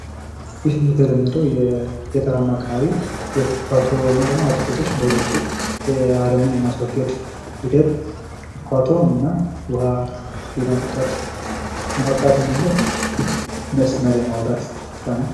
ይህ የተለመደው የገጠራማ አካባቢ የኩትኳቶ ወይም አትክልቶችን እንዳይደርቁ አረሙን የማስወገድ ኩትኳቶ እና ውሃ ለማጠጣት እንድመች መስመር የማውጣት ስራ ነው።